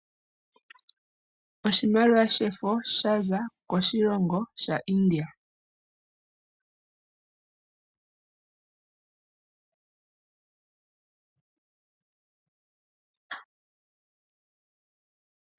Oshimaliwa shefo sha za koshilongo India.